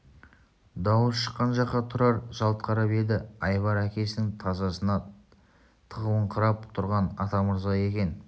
дауыс шыққан жаққа тұрар жалт қарап еді айбар әкесінің тасасына тығылыңқырап тұрған атамырза екен